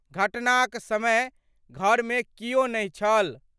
घटनाक समय घर मे कियो नहि छल।